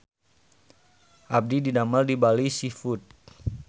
Abdi didamel di Bali Seafood